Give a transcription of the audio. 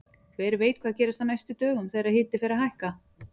Hver veit hvað gerist á næstu dögum þegar hiti fer að hækka!